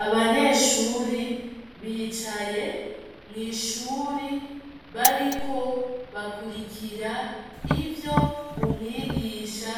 Abanyeshure, bicaye , mwishure bariko bakurikira ivyo , umwigisha